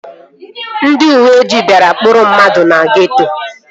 Ndị uweojii bịara ịkpụrụ mmadụ na geeto